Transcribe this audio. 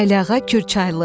Əliağa Kürçaylı.